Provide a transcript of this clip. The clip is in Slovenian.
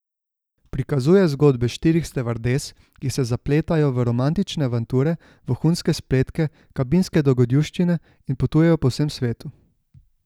Prikazuje zgodbe štirih stevardes, ki se zapletajo v romantične avanture, vohunske spletke, kabinske dogodivščine in potujejo po vsem svetu.